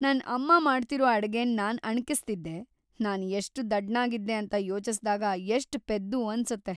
ನನ್‌ ಅಮ್ಮ ಮಾಡ್ತಿರೋ ಅಡ್ಗೆನ್ನ ನಾನ್‌ ಅಣಕಿಸ್ತಿದ್ದೆ, ನಾನ್‌ ಎಷ್ಟ್ ದಡ್ಡ್ನಾಗಿದ್ದೆ ಅಂತ ಯೋಚ್ಸಿದಾಗ ಎಷ್ಟ್‌ ಪೆದ್ದು ಅನ್ಸತ್ತೆ.